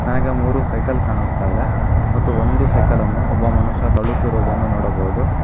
ಆಗ ಮೂರು ಸೈಕಲ್ ಕಾಣಿಸ್ತಾ ಇದೆ ಮತ್ತು ಒಂದು ಸೈಕಲ್ ಅನ್ನು ಒಬ್ಬ ಮನುಷ್ಯ ತಳುತ್ತಿರುವುದನ್ನು ನೋಡಬಹುದು.